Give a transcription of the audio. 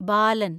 ബാലൻ